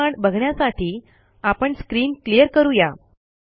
पुढील कमांड बघण्यासाठी आपण स्क्रीन क्लियर करू या